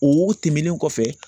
O tɛmɛnen kɔfɛ